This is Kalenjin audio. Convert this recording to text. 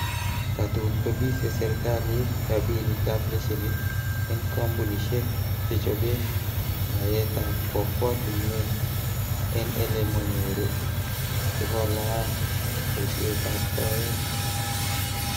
Tatun kobise serkalit rabinik ab leshenit en kompunisiek che chobe noyetab kwokwotinwe enn ele monyoru sikolaal boishietab soet.